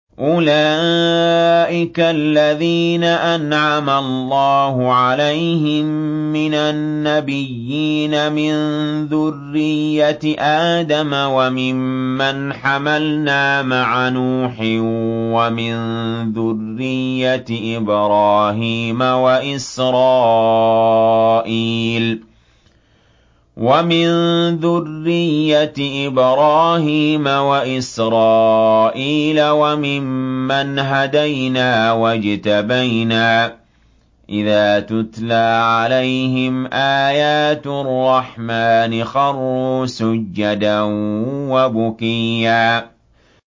أُولَٰئِكَ الَّذِينَ أَنْعَمَ اللَّهُ عَلَيْهِم مِّنَ النَّبِيِّينَ مِن ذُرِّيَّةِ آدَمَ وَمِمَّنْ حَمَلْنَا مَعَ نُوحٍ وَمِن ذُرِّيَّةِ إِبْرَاهِيمَ وَإِسْرَائِيلَ وَمِمَّنْ هَدَيْنَا وَاجْتَبَيْنَا ۚ إِذَا تُتْلَىٰ عَلَيْهِمْ آيَاتُ الرَّحْمَٰنِ خَرُّوا سُجَّدًا وَبُكِيًّا ۩